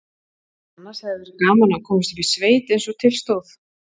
Annars hefði verið gaman að komast upp í sveit eins og til stóð.